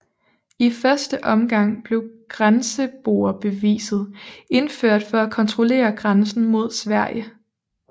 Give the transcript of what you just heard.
I første omgang blev grenseboerbeviset indført for at kontrollere grænsen mod Sverige